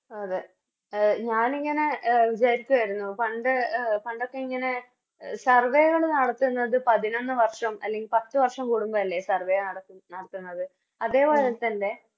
അതെ അ ഞാനിങ്ങനെ വിചാരിച്ചരുന്നു പണ്ട് എ പണ്ടൊക്കെഇങ്ങനെ Survey കള് നടത്തുന്നത് പതിനൊന്ന് വർഷം അല്ലെങ്കി പത്ത് വർഷം കുടുമ്പഴല്ലേ Survey നടക്കു നടത്തുന്നത് അതേപോലെതന്നെ